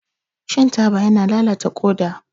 Shan taba yana lalata ƙoda.